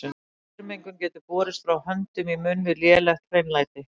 Saurmengun getur borist frá höndum í munn við lélegt hreinlæti.